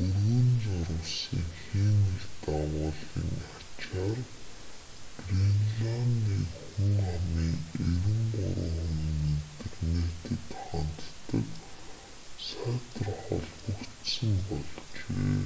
өргөн зурвасын хиймэл дагуулын ачаар гренландын хүн амын 93% нь интернетэд ханддаг сайтар холбогдсон болжээ